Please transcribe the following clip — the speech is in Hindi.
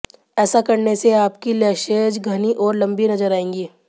ऐसा करने से आपकी लैशेज घनी और लंबी नजर आएंगी